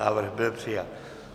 Návrh byl přijat.